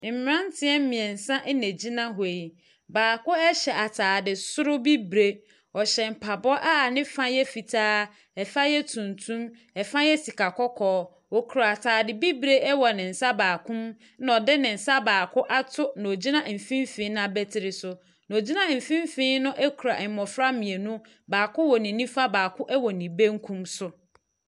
Ɔbaa bi reka banku wɔ bukyia so wɔ gyaade. Na mmofra mmienu bi gyina n'akyi a baako ataare sɛn ne kɔn ho. Maame bi nso gyina akyi a ɔde ne nsa asɔ ne sisi. Egya a wɔde reka banku no adɛre yie.